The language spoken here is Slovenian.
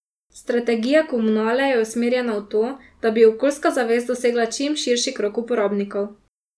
Strategija komunale je usmerjena v to, da bi okoljska zavest dosegla čim širši krog uporabnikov.